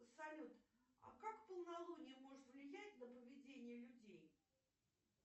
салют а как полнолуние может влиять на поведение людей